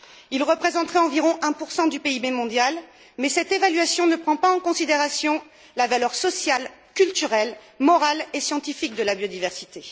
Il représenterait environ 1 du PIB mondial, mais cette évaluation ne prend pas en considération la valeur sociale, culturelle, morale et scientifique de la biodiversité.